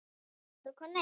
Baldur og Konni